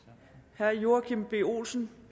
herre joachim b olsen